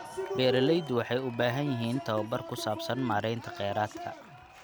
Beeraleydu waxay u baahan yihiin tababar ku saabsan maareynta kheyraadka.